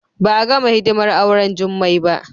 Ba a gama hidimar auren Jummai ba